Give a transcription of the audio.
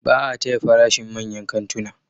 Ba a taya farashin manyan kantuna.